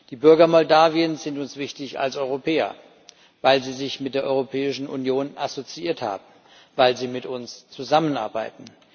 Die Bürger Moldawiens sind uns wichtig als Europäer, weil sie sich mit der Europäischen Union assoziiert haben, weil sie mit uns zusammenarbeiten.